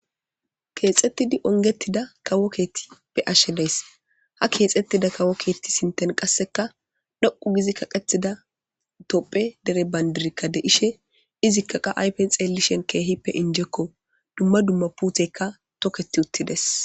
Keexettidi ongetida kawo keettippe ashshe days ha keexettida kawo keetti sinten qasseka dhoqu gizi kaqethida topphe dere bayndirkka de ishe izikka qa ayfen xeelishen keehippe injekko dumma dumma puuthekka toketi uttides.